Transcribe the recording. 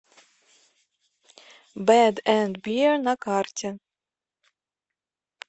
бэд энд бир на карте